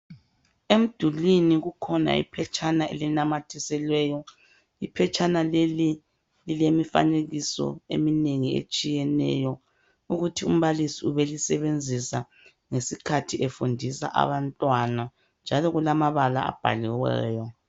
Emdulwini kukhona iphetshana elinamathiselweyo, iphetshana leli lilemifanekiso eminengi etshiyeneyo ukuthi umbalisi ubelisebenzisa ngesikhathi efundisa abantwana njalo kulamabala abhaliweyo.